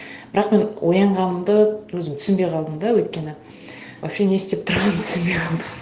бірақ мен оянғанымды өзім түсінбей қалдым да өйткені вообще не істеп тұрғанымды түсінбей қалдым